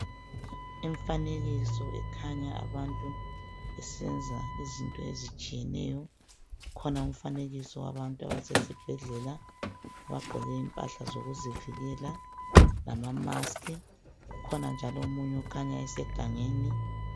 Imifanekiso ekhanya abantu besenza izinto ezitshiyeneyo, ukhona umfanekiso wabantu abasesibhedlela abagqoke impahla zokuzivikela lamamaski. Ukhona njalo okhanya esegangeni.